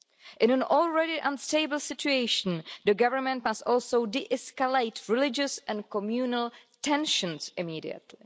In an already unstable situation, the government must also de-escalate religious and communal tensions immediately.